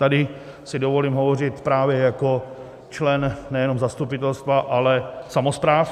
Tady si dovolím hovořit právě jako člen nejenom zastupitelstva, ale samospráv.